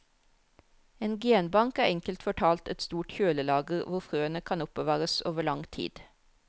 En genbank er enkelt fortalt et stort kjølelager hvor frøene kan oppbevares over lang tid.